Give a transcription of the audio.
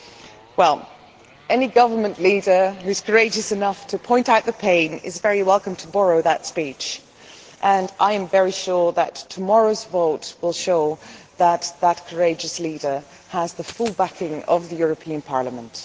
Well, any government leader who is courageous enough to point out the pain is very welcome to borrow that speech, and I am very sure that tomorrow's vote will show that any such courageous leader would have the full backing of the European Parliament.